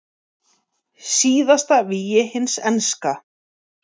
Síðasta vígi hins enska